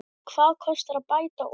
Hvað kostar að bæta úr?